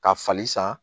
Ka fali san